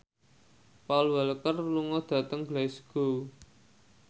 Paul Walker lunga dhateng Glasgow